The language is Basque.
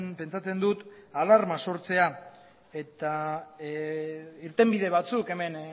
pentsatzen dut alarma sortzea eta irtenbide batzuk hemen